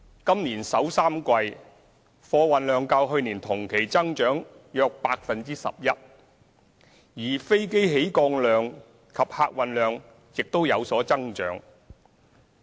今年首三季，貨運量較去年同期增長約 11%， 而飛機起降量及客運量亦有增長。